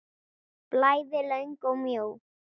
Bæði löng og mjó.